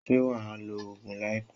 Ṣé wà á lo oògùn láìpé?